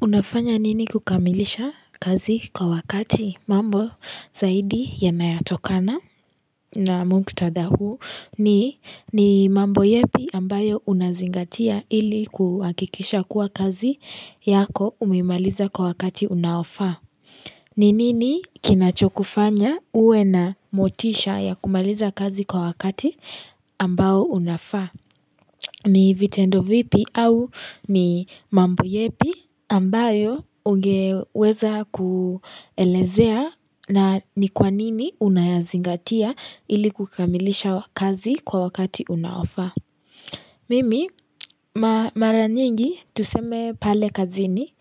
Unafanya nini kukamilisha kazi kwa wakati mambo zaidi yanayatokana na mkutadha huu ni mambo yepi ambayo unazingatia ili kuhakikisha kuwa kazi yako umimaliza kwa wakati unaofa. Ni nini kinachokufanya uwe na motisha ya kumaliza kazi kwa wakati ambao unafaa? Ni vitendo vipi au ni mambo yepi ambayo ungeweza kuelezea na ni kwa nini unayazingatia ili kukamilisha kazi kwa wakati unaofaa? Mimi mara nyingi tuseme pale kazini